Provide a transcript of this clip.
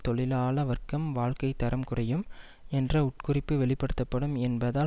தொழிலாள வர்க்கம் வாழ்க்கை தரம் குறையும் என்ற உட்குறிப்பு வெளிப்படுத்தப்படும் என்பதால்